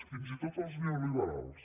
fins i tot els neoliberals